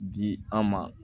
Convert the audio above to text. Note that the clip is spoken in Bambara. Bi an ma